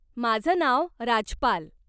माझं नाव राजपाल.